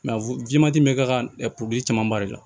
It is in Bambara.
bɛ k'a ka camanba de la